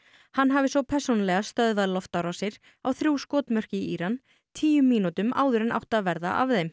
hann hafi svo persónulega stöðvað loftárásir á þrjú skotmörk í Íran tíu mínútum áður en átti að verða af þeim